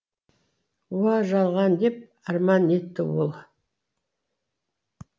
уа жалған деп арман етті ол